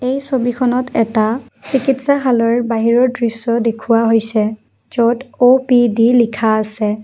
এই ছবিখনত এটা চিকিৎসাহালৰ বাহিৰৰ দৃশ্য দেখুওৱা হৈছে য'ত অ_পি_ডি লিখা আছে।